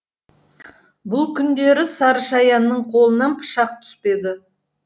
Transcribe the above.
бұл күндері сары шаяның қолынан пышақ түспеді